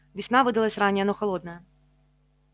весна выдалась ранняя но холодная